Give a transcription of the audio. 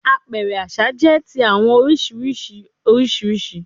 Apẹrẹ aṣa jẹ ti awọn oriṣiriṣi oriṣiriṣi